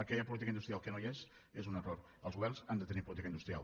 aquella política industrial que no hi és és un error els governs han de tenir política industrial